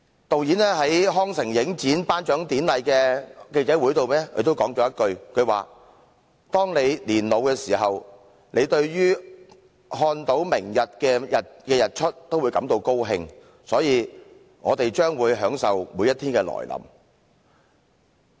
導演在康城影展頒獎典禮的記者會上說了一句："當你年老時，看到明天的日出也會感到高興，所以我們將會享受每一天的來臨。